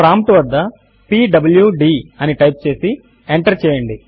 prompt వద్ద PWD అని type చేసి ఎంటర్ చేయండి